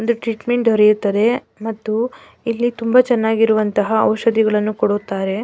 ಒಂದು ಟ್ರೀಟ್ಮೆಂಟ್ ದೊರೆಯುತ್ತದೆ ಮತ್ತು ಇಲ್ಲಿ ತುಂಬ ಚೆನ್ನಾಗಿರುವಂತಹ ಔಷಧಿಗಳನ್ನೂ ಕೊಡುತ್ತಾರೆ.